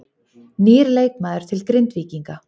Nýr leikmaður til Grindvíkinga